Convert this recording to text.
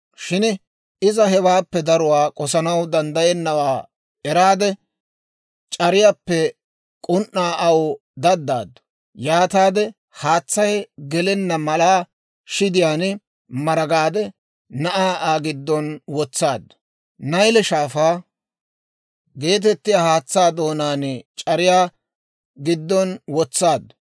Shin iza hewaappe daruwaa k'osanaw danddayennawaa eraade, c'ariyaappe k'un"aa aw daddaaddu; yaataade haatsay gelenna mala shidiyaan maragaade, na'aa Aa giddon wotsaaddu; Nayle Shaafaa geetettiyaa haatsaa doonaan c'ariyaa giddon wotsaaddu.